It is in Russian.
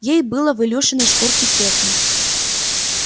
ей было в илюшиной шкурке тесно